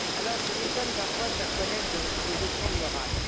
Alors, je m'étonne parfois, chers collègues, des leçons de morale.